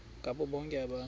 ngabo bonke abantu